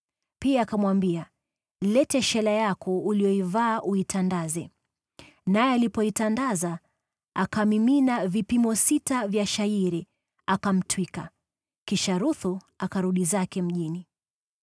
Pia akamwambia, “Leta shela yako uliyoivaa, uitandaze.” Naye alipoitandaza, akamimina vipimo sita vya shayiri, akamtwika. Kisha Ruthu akarudi zake mjini.